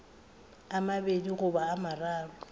a mabedi goba a mararo